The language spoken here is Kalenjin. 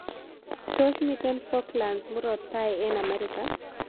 Tos' miten falklands murot tai eng' amerika